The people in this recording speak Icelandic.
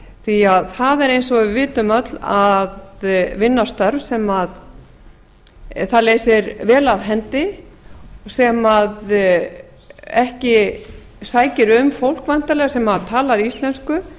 því það er eins og við vitum öll að vinna störf sem það leysir vel af hendi sem ekki sækir um fólk væntanlega sem talar íslensku